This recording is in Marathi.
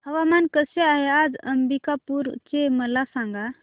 हवामान कसे आहे आज अंबिकापूर चे मला सांगा